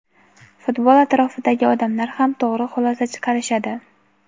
futbol atrofidagi odamlar ham to‘g‘ri xulosa chiqarishadi.